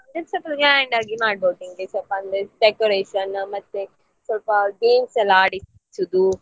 ಸ್ವಲ್ಪ grand ಆಗಿ ಮಾಡಬೋದು ನಿಮಗೆ ಸ್ವಲ್ಪ ಅಂದ್ರೆ decoration ಮತ್ತೆ ಸ್ವಲ್ಪ games ಎಲ್ಲ ಆಡಿಸುದು.